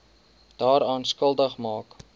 daaraan skuldig maak